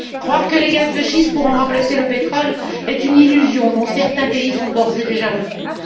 Croire que les gaz de schiste pourront remplacer le pétrole est une illusion, dont certains pays sont déjà revenus.